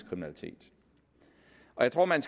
kriminalitet og jeg tror man